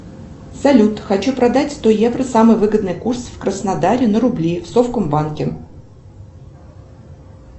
салют хочу продать сто евро самый выгодный курс в краснодаре на рубли в совкомбанке